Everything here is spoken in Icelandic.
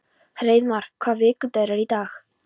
Hreiðmar, hvaða vikudagur er í dag?